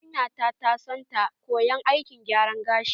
Yarinya na ta na son ta koya aikin gyara gashi.